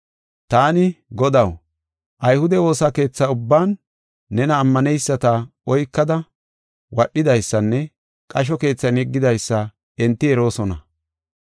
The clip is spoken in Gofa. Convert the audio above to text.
“Taani, ‘Godaw, ayhude woosa keetha ubban nena ammaneyisata oykada wadhidaysanne qasho keethan yeggidaysa enti eroosona.